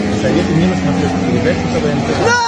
посоветуй мне на смотрешке передачу квн тв